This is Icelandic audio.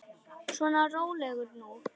Svona, rólegur nú.